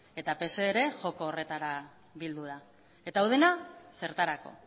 eta pse ere joko horretara bildu da eta hau den zertarako